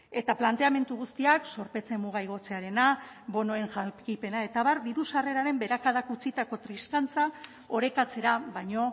eta planteamendu guztiak zorpetze muga igotzearena bonoen jakipena eta abar diru sarreraren beherakadak utzitako triskantza orekatzera baino